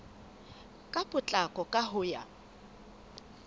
ka potlako ka ho ya